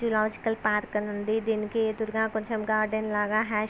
Zoological park అని ఉంది. దీనికి ఎదురుగా కొంచెం గార్డెన్ లాగా